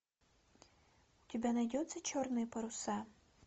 у тебя найдется черные паруса